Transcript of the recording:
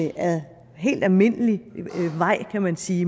ad helt almindelig vej kan man sige i